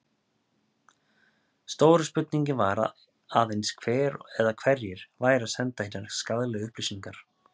Stóra spurningin var aðeins hver eða hverjir væru að senda hinar skaðlegu upplýsingar?